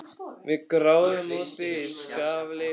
Við gröfum hann úti í skafli sagði Anna.